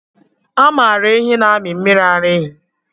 A maara ehi na-amị mmiri ara ehi.